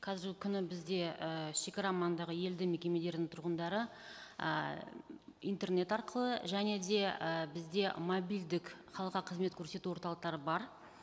қазіргі күні бізде і шегара маңындағы елді мекемелердің тұрғындары ы интернет арқылы және де і бізде мобилдік халыққа қызмет көрсету орталықтары бар